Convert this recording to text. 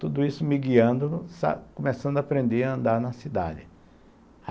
Tudo isso me guiando, começando a aprender a andar na cidade.